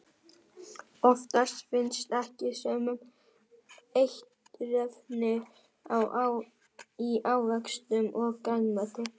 Oftast finnast ekki sömu eiturefnin í ávöxtum og grænmeti.